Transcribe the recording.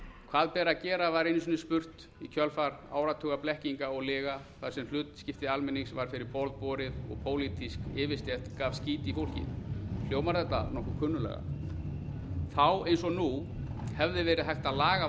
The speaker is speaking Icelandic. hvað ber að gera var einu sinni spurt í kjölfar áratuga blekkinga og lyga þar sem hlutskipti almennings var fyrir borð borið og pólitísk yfirstétt gaf skít i fólkið hljómar þetta nokkuð kunnuglega þá eins og nú hefði verið hægt að laga